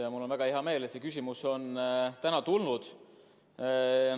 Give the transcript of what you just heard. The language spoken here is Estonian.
Ja mul on väga hea meel, et see küsimus on täna esitatud.